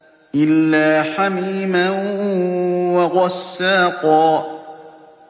إِلَّا حَمِيمًا وَغَسَّاقًا